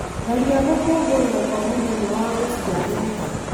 tharia gũkũngũĩra kwa mũthenya wa gũciarwo